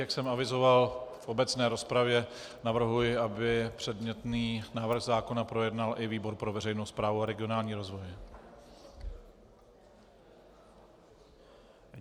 Jak jsem avizoval v obecné rozpravě, navrhuji, aby předmětný návrh zákona projednal i výbor pro veřejnou správu a regionální rozvoj.